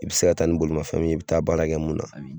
I bi se ka taa ni bolimanfɛn min ye, i bi taa baarakɛ mun na